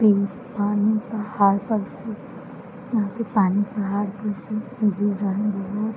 pink पानी का पहाड़ पर यहाँ पे पानी पहाड़ पर से गिर रहा --